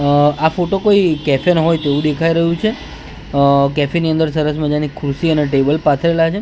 અહ આ ફોટો કોઈ કેફે નો હોય તેવું દેખાઈ રહ્યું છે અહ કેફી ની અંદર સરસ મજાની ખુરશી અને ટેબલ પાથરેલા છે--